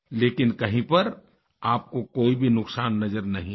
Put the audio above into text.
लेकिन कहीं पर आपको कोई भी नुकसान नज़र नहीं आया